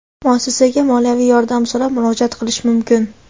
muassasaga moliyaviy yordam so‘rab murojaat qilishi mumkin.